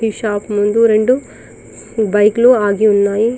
ఈ షాప్ ముందు రెండు బైకులు ఆగి ఉన్నాయి .